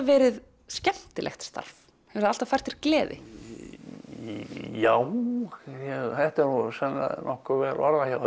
verið skemmtilegt starf hefur það alltaf fært þér gleði já þetta er nú sennilega nokkuð vel orðað hjá